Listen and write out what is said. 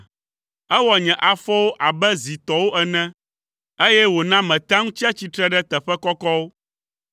Ewɔ nye afɔwo abe zi tɔwo ene, eye wòna metea ŋu tsia tsitre ɖe teƒe kɔkɔwo.